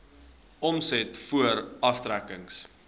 omset voor aftrekkings